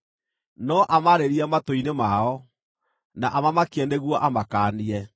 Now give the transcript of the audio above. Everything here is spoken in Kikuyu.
no amaarĩrie matũ-inĩ mao, na amamakie nĩguo amakaanie,